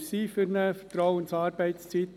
Wir sind für eine Vertrauensarbeitszeit.